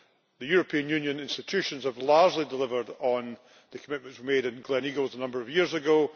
The European Union institutions have largely delivered on the commitments made at Gleneagles a number of years ago